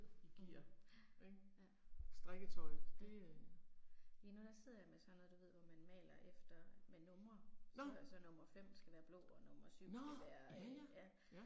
Mh, ja, ja. Ja. Lige nu der sidder jeg med sådan noget du ved hvor man maler efter med numre. Så så nummer 5 skal være blå og nummer 7 skal være, ja